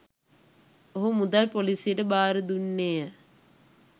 ඔහු මුදල් පොලිසියට බාර දුන්නේය.